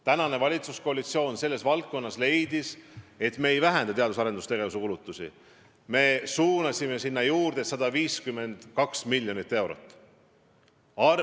Praegune valitsuskoalitsioon leidis, et me ei vähenda teadus- ja arendustegevuse kulutusi, me suunasime sinna juurde 152 miljonit eurot.